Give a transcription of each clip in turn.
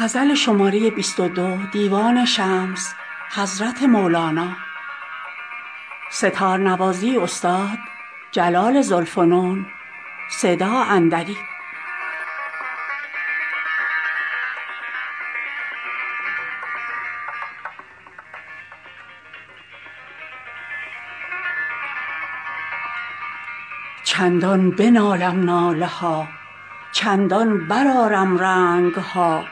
چندان بنالم ناله ها چندان برآرم رنگ ها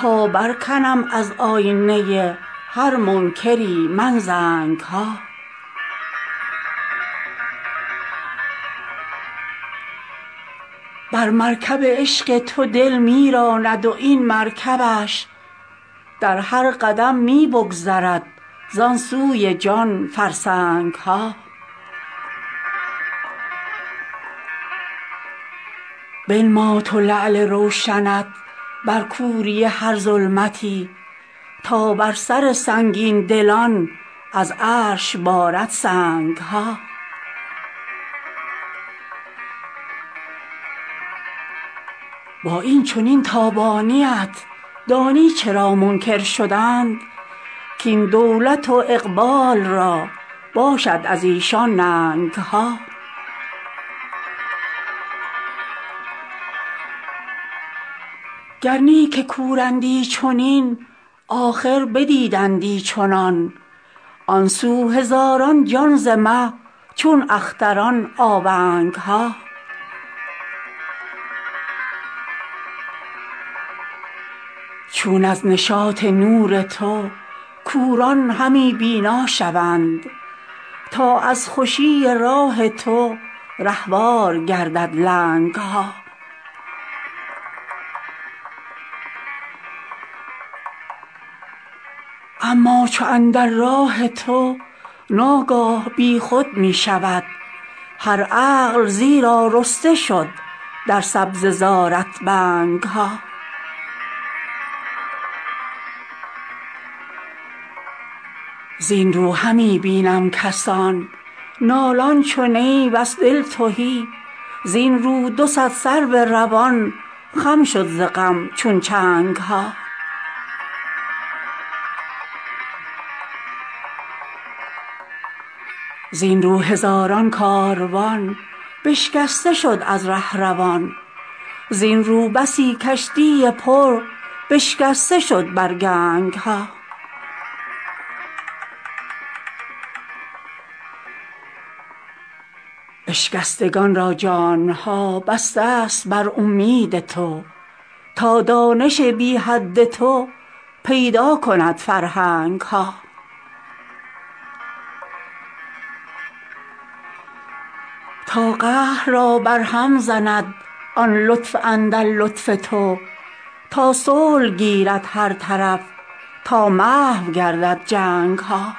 تا برکنم از آینه هر منکری من زنگ ها بر مرکب عشق تو دل می راند و این مرکبش در هر قدم می بگذرد زان سوی جان فرسنگ ها بنما تو لعل روشنت بر کوری هر ظلمتی تا بر سر سنگین دلان از عرش بارد سنگ ها با این چنین تابانی ات دانی چرا منکر شدند کاین دولت و اقبال را باشد از ایشان ننگ ها گر نی که کورندی چنین آخر بدیدندی چنان آن سو هزاران جان ز مه چون اختران آونگ ها چون از نشاط نور تو کوران همی بینا شوند تا از خوشی راه تو رهوار گردد لنگ ها اما چو اندر راه تو ناگاه بی خود می شود هر عقل زیرا رسته شد در سبزه زارت بنگ ها زین رو همی بینم کسان نالان چو نی وز دل تهی زین رو دو صد سرو روان خم شد ز غم چون چنگ ها زین رو هزاران کاروان بشکسته شد از ره روان زین ره بسی کشتی پر بشکسته شد بر گنگ ها اشکستگان را جان ها بسته ست بر اومید تو تا دانش بی حد تو پیدا کند فرهنگ ها تا قهر را برهم زند آن لطف اندر لطف تو تا صلح گیرد هر طرف تا محو گردد جنگ ها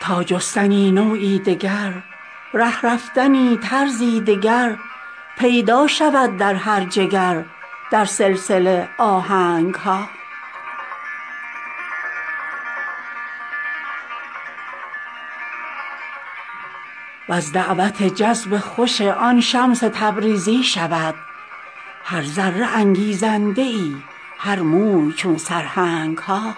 تا جستنی نوعی دگر ره رفتنی طرزی دگر پیدا شود در هر جگر در سلسله آهنگ ها وز دعوت جذب خوشی آن شمس تبریزی شود هر ذره انگیزنده ای هر موی چون سرهنگ ها